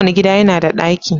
Kowane gida yana da ɗaki